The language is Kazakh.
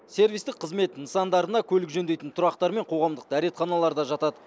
сервистік қызмет көрсететін орталыққа көлік жөндейтін тұрақтар мен қоғамдық дәретханалар да жатады